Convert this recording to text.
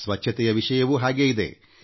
ಶುಚಿತ್ವ ಕೂಡ ಇದೇ ಪ್ರಕಾರದ್ದಾಗಿದೆ